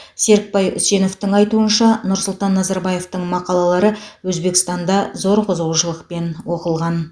серікбай үсеновтың айтуынша нұрсұлтан назарбаевтың мақалалалары өзбекстанда зор қызығушылықпен оқылған